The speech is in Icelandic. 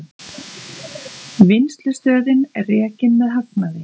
Vinnslustöðin rekin með hagnaði